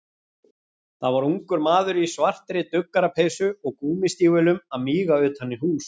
Það var ungur maður í svartri duggarapeysu og gúmmístígvélum að míga utan í hús.